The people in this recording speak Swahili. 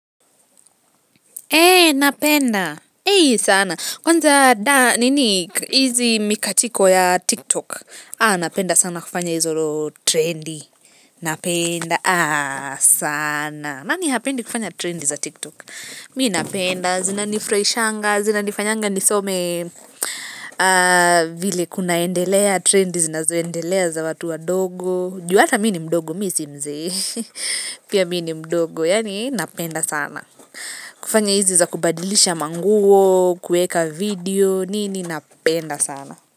Eeh napenda sana kwanza dance nini hizi mikatiko ya tiktok napenda sana kufanya hizo trendy napenda sana nani hapendi kufanya trendy za tiktok mi napenda zinanifurahishanga zinanifanyanga nisome vile kunaendelea trendi zinazoendelea za watu wadogo juu hata mimi ni mdogo mimi si mzee pia mi ni mdogo yani napenda sana kufanya hizi za kubadilisha manguo, kueka video, nini napenda sana.